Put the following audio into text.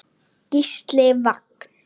Gísli Vagn.